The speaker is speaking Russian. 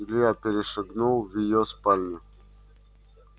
илья перешагнул в её спальню